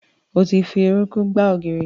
Ẹ ti fi orúnkún gbá ògiri.